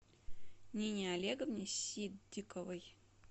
нине олеговне ситдиковой